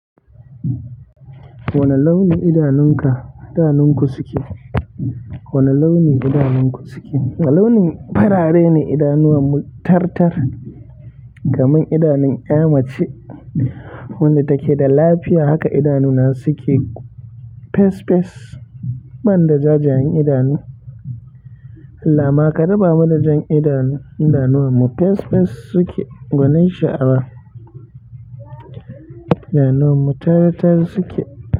Wane launin idanunka, idanunku suke? Wane launi idanunku suke? Launin farare ne idanuwanmu? Tartar. Kaman idanun 'ya mace wanda take da lafiya, haka idanuna suke. Pespes. Ban da jajayen idanu, Allah ma karaba mu da jan idanu. Idanuwanmu pespes suke, gwanin sha'awa. Idanuwanmu tartar suke.